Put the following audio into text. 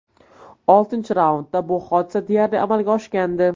Oltinchi raundda bu hodisa deyarli amalga oshgandi.